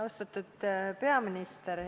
Austatud peaminister!